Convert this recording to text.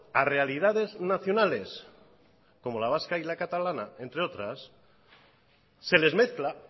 a realidades nacionales como la vasca y la catalana entre otras se les mezcla